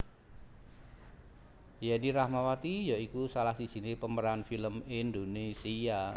Yenny Rahmawati ya iku salah sijiné pemeran film Indonésia